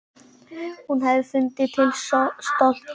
Hún hefði fundið til stolts.